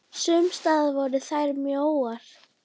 Sums staðar voru þær mjóar.